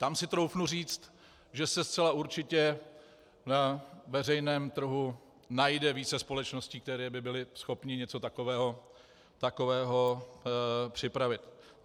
Tam si troufnu říct, že se zcela určitě ve veřejném trhu najde více společností, které by byly schopny něco takového připravit.